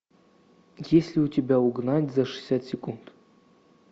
есть ли у тебя угнать за шестьдесят секунд